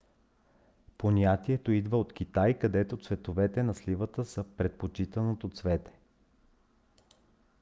понятието идва от китай където цветовете на сливата са предпочитаното цвете